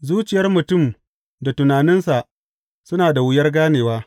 Zuciyar mutum da tunaninsa, suna da wuyar ganewa.